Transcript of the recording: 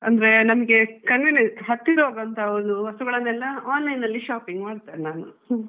ಅಂದ್ರೆ ನಮ್ಗೆ ವಸ್ತುಗಳನ್ನೆಲ್ಲ online ಅಲ್ಲಿ shopping ಮಾಡ್ತೇನೆ ನಾನು.